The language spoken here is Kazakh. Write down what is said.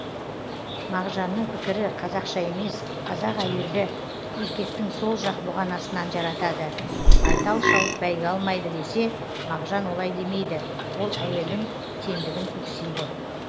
мағжанның пікірі қазақша емес қазақ әйелді еркектің сол жақ бұғанасынан жаратады байтал шауып бәйге алмайды десе мағжан олай демейді ол әйелдің теңдігін көксейді